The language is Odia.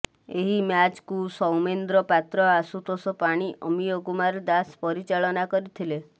ଏହି ମ୍ୟାଚକୁ ସୌମେନ୍ଦ୍ର ପାତ୍ର ଆଶୁତୋଷ ପାଣି ଅମୀୟ କୁମାର ଦାସ ପରିଚାଳନା କରିଥିଲେ